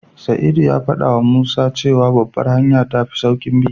Sa'idu ya faɗawa Musa cewa Babbar hanya tafi sauƙin bi.